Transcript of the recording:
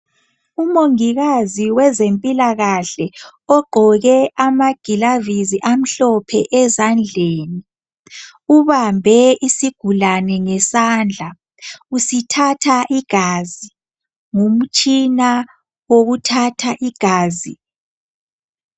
Umongikazi wezempilakahle ogqqoke amagilavisi amhlophe ezandleni ubambe isigulane ngesandla usithatha igazi ngomtshina wokuthatha igazi.